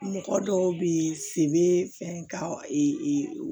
Mɔgɔ dɔw bɛ yen feere bɛ fɛn ka